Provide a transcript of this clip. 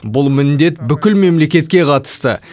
бұл міндет бүкіл мемлекетке қатысты